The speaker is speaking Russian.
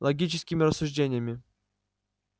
логическими рассуждениями